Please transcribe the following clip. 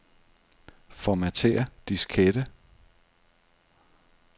Formatér diskette.